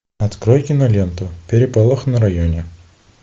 открой киноленту переполох на районе